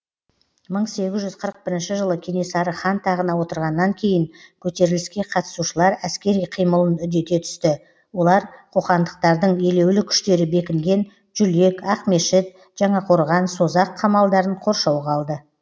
бір мың сегіз жүз қырық бірінші жылы кенесары хан тағына отырғаннан кейін көтеріліске қатысушылар әскери қимылын үдете түсті олар қоқандықтардың елеулі күштері бекінген жүлек ақмешіт жаңақорған созақ қамалдарын қоршауға алды